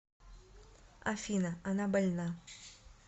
афина она больна